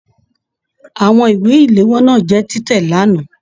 Àwọn ìwé iléwọ́ náà jẹ tìtẹ l'ana.